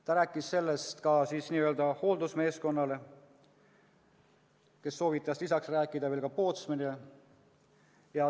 Ta ütles seda ka hooldusmeeskonnale, kes soovitas rääkida veel pootsmanile.